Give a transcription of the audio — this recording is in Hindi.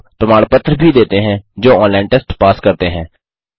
उनको प्रमाण पत्र भी देते हैं जो ऑनलाइन टेस्ट पास करते हैं